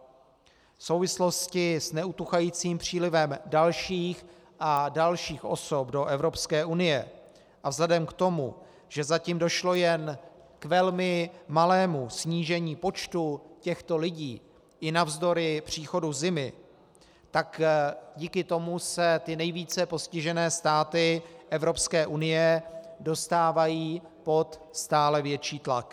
V souvislosti s neutuchajícím přílivem dalších a dalších osob do Evropské unie a vzhledem k tomu, že zatím došlo jen k velmi malému snížení počtu těchto lidí i navzdory příchodu zimy, tak díky tomu se ty nejvíce postižené státy Evropské unie dostávají pod stále větší tlak.